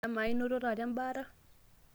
amaa enito taata embaata?